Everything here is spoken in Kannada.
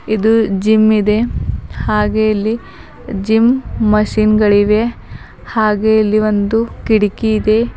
ಇದು ಜಿಮ್ ಇದೆ ಹಾಗೆ ಇಲ್ಲಿ ಜಿಮ್ ಮಷಿನ್ ಗಳಿವೆ ಹಾಗೆ ಇಲ್ಲಿ ಒಂದು ಕಿಡಿಕಿ ಇದೆ.